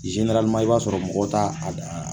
i b'a sɔrɔ mɔgɔ t'a a